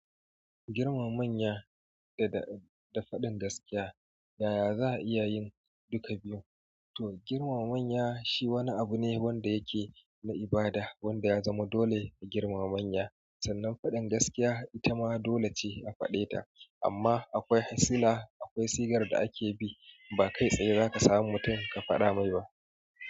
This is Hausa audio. Girmama manya da, da faɗin gaskiya. Yaya za a iya yin duka biyu? To, girmama manya shi wani abu ne wanda yake na ibada, wanda ya zama dole a girmama manya. Sannan faɗin gaskiya ita ma dole ce a faɗe ta, amma akwai ha sila, akwai sigar da ake bi. Ba kai tsaye za ka samu mutum ka faɗa mai ba.